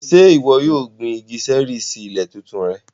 Ṣe iwọ yóò gbin igi ṣẹẹri si ile titun rẹ?